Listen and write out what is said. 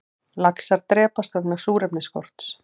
Laxar drepast vegna súrefnisskorts